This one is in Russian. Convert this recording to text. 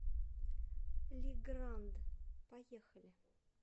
лигранд поехали